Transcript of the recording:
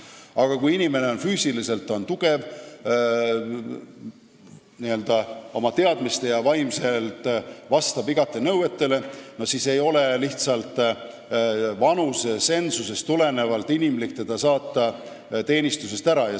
Aga kui inimene on füüsiliselt tugev, vastab oma teadmiste poolest ja vaimses mõttes igati nõuetele, siis ei ole lihtsalt vanusetsensusest tulenevalt inimlik teda teenistusest ära saata.